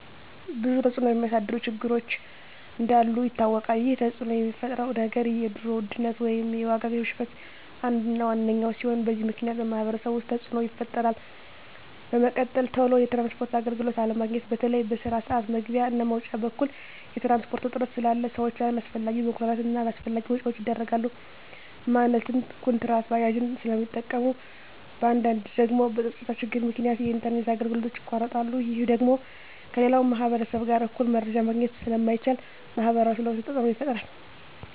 ብዙ ተፅዕኖ የሚያሳድሩ ችግሮች እንዳሉ ይታወቃል ይህ ተፅዕኖ የሚፈጥረው ነገር የኑሮ ውድነት ወይም የዋጋ ግሽበት አንዱ እና ዋነኛው ሲሆን በዚህ ምክንያት በማህበረሰቡ ውስጥ ተፅዕኖ ይፈጥራል በመቀጠል ቶሎ የትራንስፖርት አገልግሎት አለማግኘት በተለይ በስራ ስዓት መግቢያ እና መውጫ በኩል የትራንስፖርት እጥረት ስላለ ሰዎች አላስፈላጊ መጉላላት እና አላስፈላጊ ወጪዎች ይዳረጋሉ ማለትም ኩንትራት ባጃጆችን ስለሚጠቀሙ በአንዳንድ ደግሞ በፀጥታ ችግር ምክንያት የኢንተርኔት አገልግሎቶች ይቋረጣሉ ይህ ደግሞ ከሌላው ማህበረሰብ ጋር እኩል መረጃ ማግኘት ስለማይቻል ማህበረሰቡ ላይ ተፅዕኖ ይፈጥራል